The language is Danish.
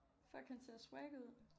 Fuck han ser swag ud